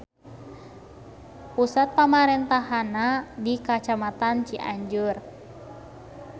Pusat pamarentahannana di Kacamatan Cianjur.